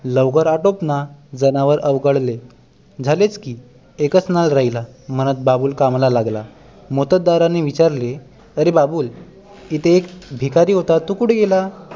लवकर अटपना जनावर अवघडले झालेच की एकच नाळ राहीला म्हणत बाबूल कामाला लागला मोत्तद्दाराने विचारले अरे बाबूल इथे एक भिकारी होता तो कुठे गेला